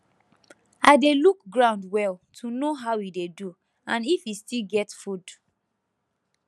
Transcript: i dey look ground well to know how e dey do and if e still get food